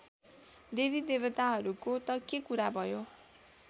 देवीदेवताहरूको त के कुरा भयो